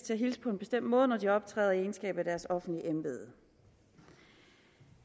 til at hilse på en bestemt måde når de optræder i egenskab af deres offentlige embede